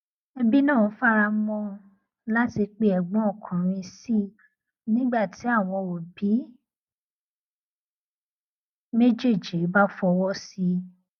ẹbí náà faramọ ọn láti pe ẹgbọn ọkùnrin sí i nígbà tí àwọn òbí méjéèjì bá fọwọ sí i